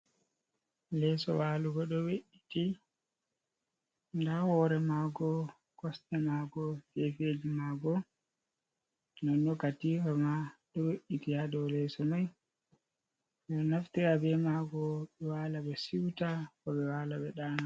Leso walugo ɗo we’iti, nda hore maago, kosɗe maago gefeji maago non non katifa ma ɗo we’iti ha dow Leso mai ɗo naftira be maago ɓe wala be siuta ko ɓe wala dana.